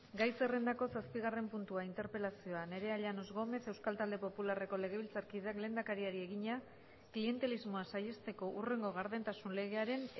gai zerrendako zazpigarren puntua interpelazioa nerea llanos gómez euskal talde popularreko legebiltzarkideak lehendakariari egina klientelismoa saihesteko hurrengo gardentasun legearen